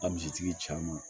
Ka misitigi